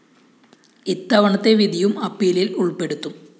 ഇത്തവണത്തെ വിധിയും അപ്പീലില്‍ ഉള്‍പ്പെടുത്തും